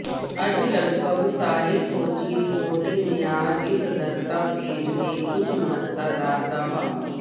ਅੱਜ ਲਗਭਗ ਸਾਰੇ ਖੋਜੀ ਰਿਪੋਰਟਿੰਗ ਮਿਆਰ ਇਸ ਦਸਤਾਵੇਜ਼ ਦੇ ਉੱਚ ਮਹੱਤਤਾ ਦਾ ਦਾਅਵਾ